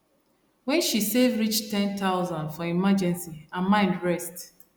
when she save reach 10000 for emergency her mind rest